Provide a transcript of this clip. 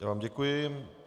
Já vám děkuji.